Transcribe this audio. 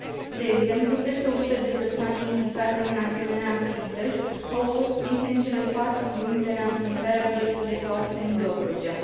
De exemplu, peste o sută de persoane implicate în asemenea activități au fost prinse în cele patru luni de la înființarea gărzii de coastă în Dobrogea.